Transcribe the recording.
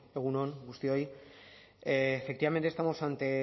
bueno egun on guztioi efectivamente estamos ante